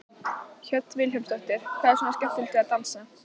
Hödd Vilhjálmsdóttir: Hvað er svona skemmtilegt við að dansa?